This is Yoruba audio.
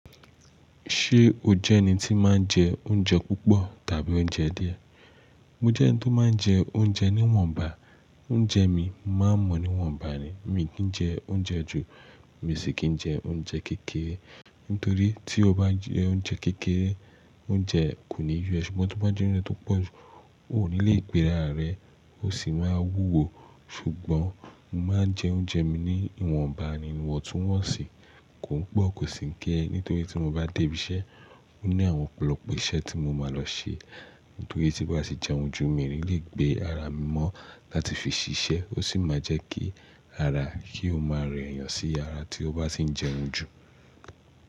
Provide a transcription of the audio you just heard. Ṣé o jẹ́ ẹni tí máa ń jẹ oúnjẹ púpọ̀ tàbí oúnjẹ díẹ̀? Mo jẹ́ ẹni tí ó máa ń jẹ oúnjẹ ní ìwọ̀nba. Oúnjẹ mi, mo máa mọ̀ ìwọ̀nba ni. Mi kìí ń jẹ oúnjẹ jù, mi sì kìí ń jẹ oúnjẹ kékeré. Nítorí tí o bá jẹ oúnjẹ kékeré, oúnjẹ kò ní yó, ṣùgbọ́n tí o bá jẹ oúnjẹ tó pọ̀ jù, o ò ní lè gbéra rẹ, o sì máa wúwo. Ṣùgbọ́n mo máa ń jẹ oúnjẹ mi ní ìwọ̀nbá ni, ìwọ̀n tún wọ̀nsíi, kò pọ̀ kò sì kìí ń kéré. Nítorí tí mo bá dé ibi iṣẹ́, ó ní àwọn ọ̀pọ̀lọpọ̀ iṣẹ́ tí mo máa lọ ṣe. Nítorí tí n bá ti jẹ oúnjẹ jù, mi rílì gbé ara mi mọ́ láti fi ṣiṣẹ́, ó sì máa jẹ́ kí ara, kí ó máa rẹ èèyàn sí ara tí ó bá ti ń jẹun jù.